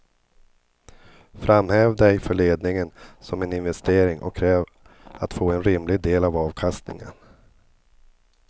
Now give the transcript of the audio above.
Framhäv dig för ledningen som en investering och kräv att få en rimlig del av avkastningen.